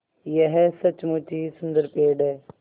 यह सचमुच ही सुन्दर पेड़ है